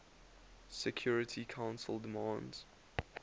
security council demands